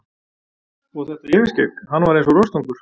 Og þetta yfirskegg, hann var eins og rostungur.